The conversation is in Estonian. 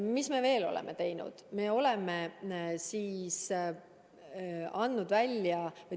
Mis me veel oleme teinud?